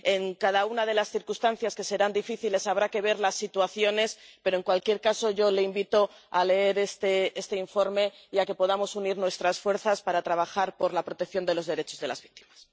En cada una de las circunstancias, que serán difíciles, habrá que ver las situaciones, pero, en cualquier caso, yo le invito a leer este informe y a que podamos unir nuestras fuerzas para trabajar por la protección de los derechos de las víctimas.